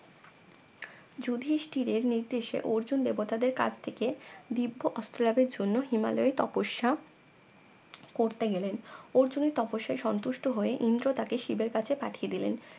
যুধিষ্টিরের নির্দেশে অর্জুন দেবতাদের কাছ থেকে দিব্য অস্ত্র লাভের জন্য হিমালয়ে তপস্যা করতে গেলেন অর্জুনের তপস্যায় সন্তুষ্ট হয়ে ইন্দ্র তাকে শিবের কাছে পাঠিয়ে দিলেন